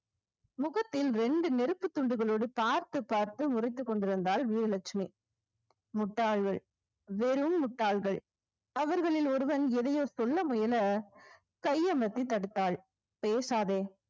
முகத்தில் இரண்டு நெருப்புத் துண்டுகளோடு பார்த்து பார்த்து முறைத்துக் கொண்டிருந்தாள் வீராலட்சுமி முட்டாள்கள் வெறும் முட்டாள்கள் அவர்களில் ஒருவன் எதையோ சொல்ல முயல கையமத்தி தடுத்தாள் பேசாதே